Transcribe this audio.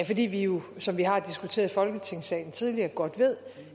fordi vi jo som vi har diskuteret i folketingssalen tidligere godt ved